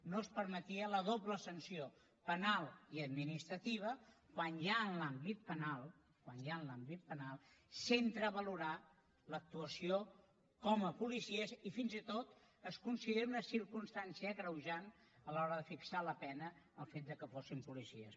no es permetia la doble sanció penal i administrativa quan ja en l’àmbit penal quan ja en l’àmbit penal s’entra a valorar l’actuació com a policies i fins i tot es considera una circumstància agreujant a l’hora de fixar la pena el fet que fossin policies